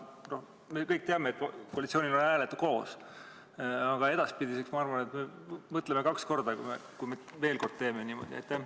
Me kõik teame, et koalitsioonil on hääled koos, aga edaspidi mõtleme kaks korda, enne kui jälle niimoodi teeme.